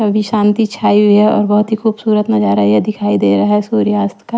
अभी शांति छाई हुई है और बहुत ही खूबसूरत नजारा ये दिखाई दे रहा है सूर्यास्त का।